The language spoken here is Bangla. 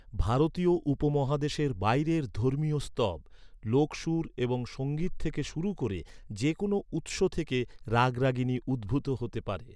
ভারতীয় উপমহাদেশের বাইরের ধর্মীয় স্তব, লোক সুর এবং সঙ্গীত থেকে শুরু করে যে কোনো উৎস থেকে রাগরাগিনী উদ্ভুত হতে পারে।